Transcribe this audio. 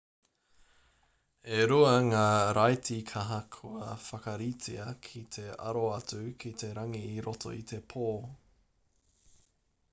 e rua ngā raiti kaha kua whakaritea ki te aro atu ki te rangi i roto i te pō